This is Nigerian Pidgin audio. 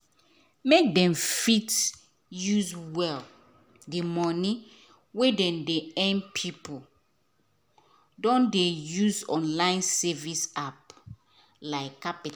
make dem fit use well di money wey dem dey earn people don dey use online saving apps like qapital